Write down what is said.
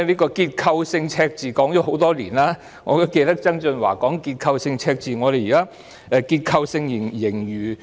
結構性赤字說了很多年，我記得曾俊華也多番提到香港會有結構性赤字。